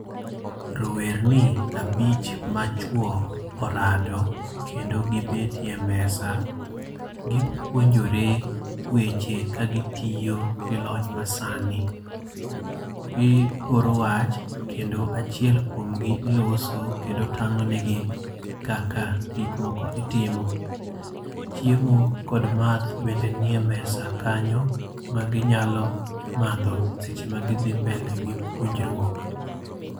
Rowerni abich machwo orado kendo gibetie mesa. Gipuonjore weche kagitiyo gi lony masani. Gioro wach, kendo achiel kuomgi loso, kendo tang'o negi kaka gik moko itimo. Chiemo kod math bende nie mesa kanyo maginyalo madho seche ma gidhi mbele gi puonjruok.